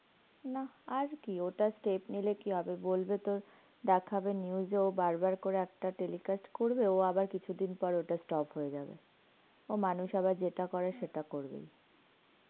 নাহ, আর কি ওটা step নিলে কি হবে? বলবে তোর, দেখাবে news এও বারবার করে একটা telecast করবে, ও আবার কিছুদিন পর ওটা stop হয়ে যাবে. ও মানুষ আবার যেটা করে, সেটা করবেই.